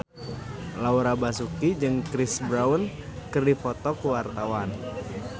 Laura Basuki jeung Chris Brown keur dipoto ku wartawan